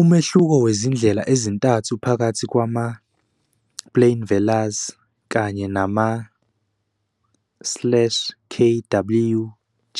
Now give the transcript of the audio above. Umehluko wezindlela ezintathu phakathi kwama- plain velars, kanye nama- slash k w, g